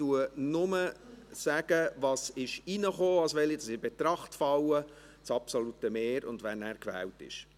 Ich sage lediglich, was reinkam, also welche in Betracht fallen, das absolute Mehr und wer gewählt ist.